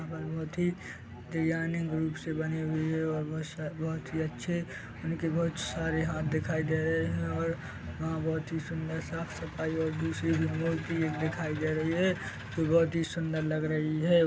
भभूति यानि भुत से बनी हुई है और बहुत सा बहुत ही अच्छे उनके बहुत सारे हाथ दिखाई दे रहे है और वहाँ बहुत ही सुंदर सा सफाई और दूसरी एक मूर्ति दिखाई दे रही है जो बहुत सुंदर लग रही है।